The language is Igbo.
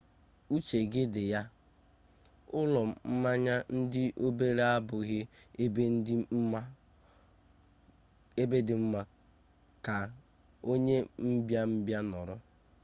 uche gị dị ya ụlọ mmanya ndị obere abụghị ebe dị mma ka onye mbịa mbịa nọrọ